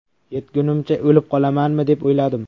Yetgunimcha o‘lib qolamanmi deb o‘yladim.